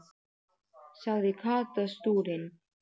sagði Kata stúrin.